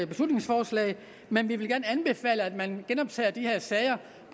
beslutningsforslag men vi vil gerne anbefale at man genoptager de her sager